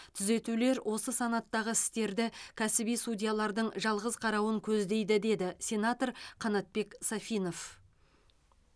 түзетулер осы санаттағы істерді кәсіби судьялардың жалғыз қарауын көздейді деді сенатор қанатбек сафинов